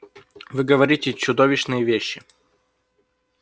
вы говорите чудовищные вещи